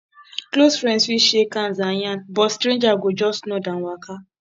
close friends fit shake hand and yarn but stranger go just nod and waka